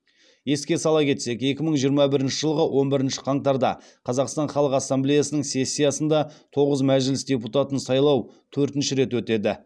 еске сала кетсек екі мың жиырма бірінші жылғы он бірінші қаңтарда қазақстан халық ассамблеясының сессиясында тоғыз мәжіліс депутатын сайлау төртінші рет өтеді